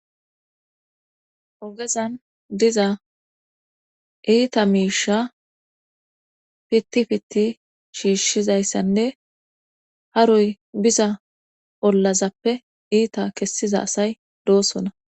ogezan diza iita miisha pitti pitti shiishshizayssanne haroy biza ollazappe iita kessiza asay doossona